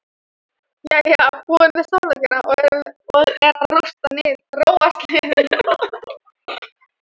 Jæja, búin með samlokuna og er að róast niður.